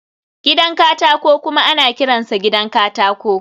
gidan katako kuma ana kiransa gidan katako